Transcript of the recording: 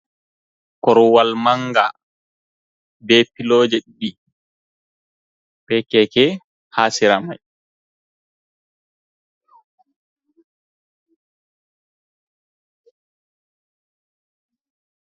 Korwal manga be piloji ɗiɗi, ɓe keke ha sera mai.